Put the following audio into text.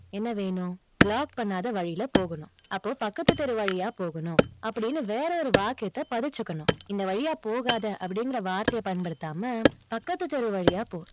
என்ன வேணும்? block பண்ணாத வழியில போகணும். அப்போ பக்கத்து தெரு வழியா போகணும். அப்படின்னு வேறொரு வாக்கியத்தை பதிச்சுக்கணும். இந்த வழியா போகாத, அப்படிங்கற வார்த்தை பயன்படுத்தாம, பக்கத்து தெரு வழியா போ.